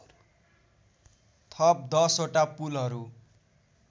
थप १० वटा पुलहरू